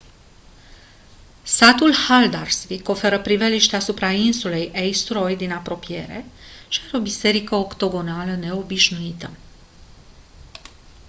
satul haldarsvík oferă priveliști asupra insulei eysturoy din apropiere și are o biserică octogonală neobișnuită